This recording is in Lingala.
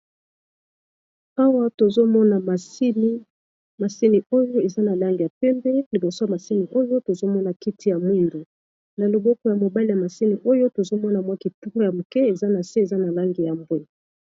Awa tozo mona masini, masini oyo eza na langi ya pembe liboso masini oyo tozo mona kiti ya mwindu. Na loboko ya mobali ya masini oyo tozo mona mwa kitunga ya moke eza na se, eza na langi ya mbwe.